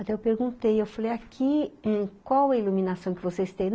Até eu perguntei, eu falei, aqui em qual a iluminação que vocês têm?